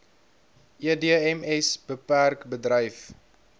edms bpk bedryf